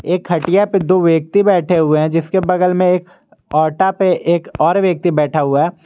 एक खटिया पे दो व्यक्ति बैठे हुए है जिसके बगल मे एक औटा पे एक और व्यक्ति बैठा हुआ है।